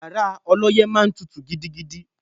Yàrá ọlọ́yẹ́ máa ń tutù gidigidi